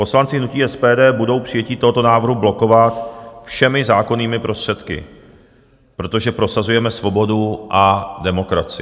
Poslanci hnutí SPD budou přijetí tohoto návrhu blokovat všemi zákonnými prostředky, protože prosazujeme svobodu a demokracii.